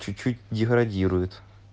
чуть-чуть деградирует